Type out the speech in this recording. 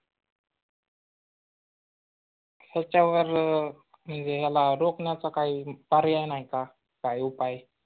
त्याच्यावर याला रोक्ण्याचा काही पर्याय नाही का? काही उपाय